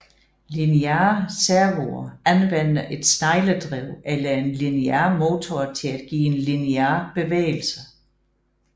Lineare servoer anvender et snegledrev eller en linear motor til at give en linear bevægelse